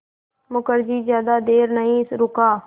मुखर्जी ज़्यादा देर नहीं रुका